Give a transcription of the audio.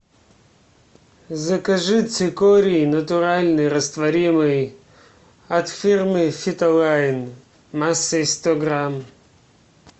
закажи цикорий натуральный растворимый от фирмы фитолайн массой сто грамм